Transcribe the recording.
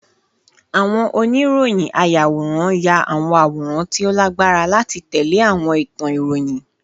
Awon oniroyinayaworan ya awọn aworan ti o lagbara lati tẹle awọn itan iroyin